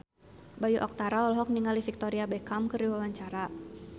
Bayu Octara olohok ningali Victoria Beckham keur diwawancara